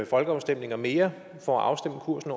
folkeafstemninger mere for at afstemme kursen